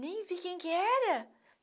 Nem vi quem que era.